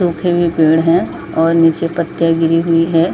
सूखे हुए पेड़ है और नीचे पत्तियां गिरी हुई हैं।